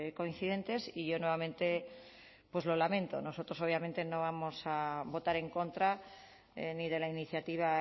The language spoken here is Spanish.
coincidentes y yo nuevamente pues lo lamento nosotros obviamente no vamos a votar en contra ni de la iniciativa